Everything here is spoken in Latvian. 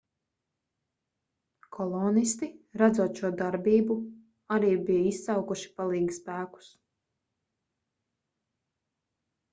kolonisti redzot šo darbību arī bija izsaukuši palīgspēkus